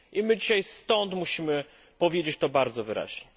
I my dzisiaj stąd musimy to powiedzieć bardzo wyraźnie.